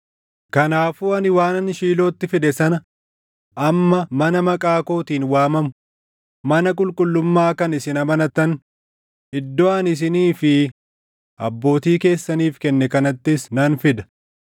Kanaafuu ani waanan Shiilootti fide sana amma mana Maqaa kootiin waamamu, mana Qulqullummaa kan isin amanattan, iddoo ani isinii fi abbootii keessaniif kenne kanattis nan fida.